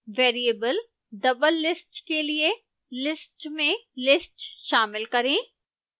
variable doublelist के लिए list में list शामिल करें